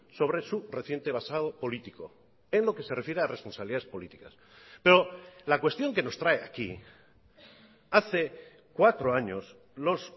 sobre su reciente basado político en lo que se refiere a responsabilidades políticas pero la cuestión que nos trae aquí hace cuatro años los